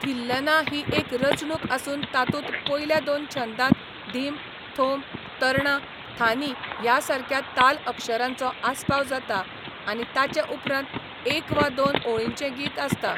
थिल्लना ही एक रचणूक आसून तातूंत पयल्या दोन छंदांत धीम, थोम, तरणा, थानी ह्या सारक्या ताल अक्षरांचो आस्पाव जाता आनी ताचे उपरांत एक वा दोन ओळींचें गीत आसता.